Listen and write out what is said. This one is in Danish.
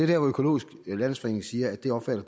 der hvor økologisk landsforening siger at de opfatter